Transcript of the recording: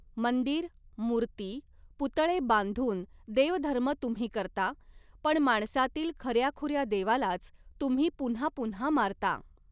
मंदिर, मुर्ती, पुतळे बांधुन देवधर्म तुम्ही करता, पण माणसातील खऱ्याखूऱ्या देवालाच तुम्ही पुन्हा पुन्हा मारता.